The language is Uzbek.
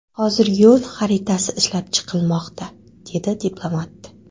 Hozir yo‘l xaritasi ishlab chiqilmoqda”, dedi diplomat.